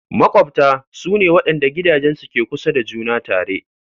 Maƙwabta su ne waɗanda gidajensu ke kusa da juna tare.